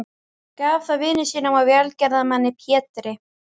Gaf það vini sínum og velgerðarmanni Pétri